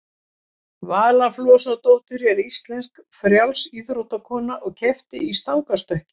vala flosadóttir er íslensk frjálsíþróttakona og keppti í stangarstökki